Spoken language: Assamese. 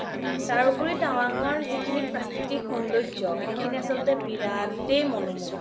তাৰ ওপৰি টাৱাংৰ যিখিনি প্ৰকৃতিক সৌন্দৰ্য্য সেই খিনি অচলতে বিৰাতে মনো মুহা